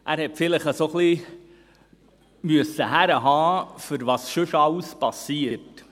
Er hat vielleicht ein wenig herhalten müssen, für das, was sonst alles geschieht.